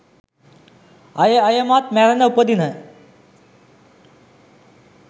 අයෙ අයෙමත් මැරෙන උපදින